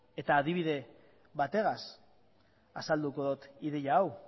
adibide bategaz azalduko dut ideia hau